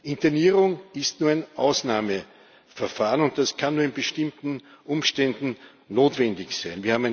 Internierung ist nur ein Ausnahmeverfahren, und es kann nur in bestimmten Umständen notwendig sein.